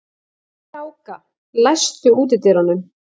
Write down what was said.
Kráka, læstu útidyrunum.